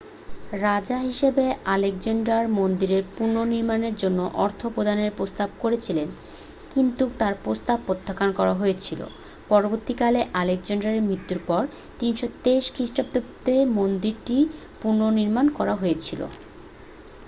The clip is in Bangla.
রাজা হিসাবে আলেকজান্ডার মন্দিরের পুনর্নির্মাণের জন্য অর্থ প্রদানের প্রস্তাব করেছিলেন কিন্তু তার প্রস্তাব প্রত্যাখ্যান করা হয়েছিল পরবর্তীকালে আলেকজান্ডারের মৃত্যুর পর 323 খ্রিস্টপূর্বাব্দে মন্দিরটির পুনর্নির্মাণ করা হয়েছিল